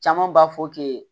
Caman b'a fɔ k'e ye